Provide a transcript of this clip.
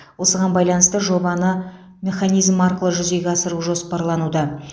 осыған байланысты жобаны механизм арқылы жүзеге асыру жоспарлануда